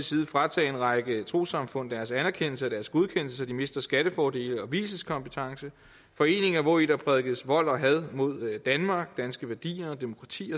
side fratage en række trossamfund deres anerkendelse af deres godkendelse så de mister skattefordele og vielseskompetence foreninger hvori der prædikes vold og had mod danmark danske værdier demokrati